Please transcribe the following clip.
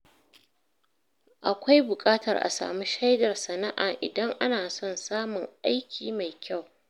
Akwai buƙatar a samu shaidar sana’a idan ana son samun aiki mai kyau.